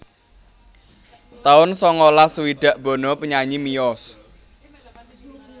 taun sangalas swidak Bono penyanyi miyos